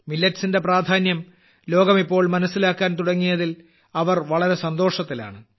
millets ന്റെ പ്രാധാന്യം ലോകം ഇപ്പോൾ മനസ്സിലാക്കാൻ തുടങ്ങിയതിൽ അവർ വളരെ സന്തോഷത്തിലാണ്